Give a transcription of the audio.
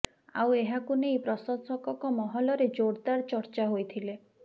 ଆଉ ଏହାକୁ ନେଇ ପ୍ରଶଂସକଙ୍କ ମହଲରେ ଜୋରଦାର ଚର୍ଚ୍ଚା ହୋଇଥିଲେ